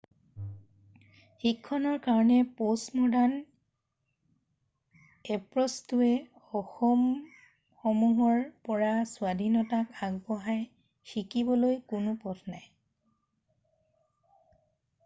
শিক্ষণৰ কাৰণে প'ষ্টম'ডাৰ্ণ এপ্ৰ'চটোয়ে অসীমসমূহৰ পৰা স্বাধীনতাক আগবঢ়াই৷ শিকিবলৈ কোনো পথ নাই৷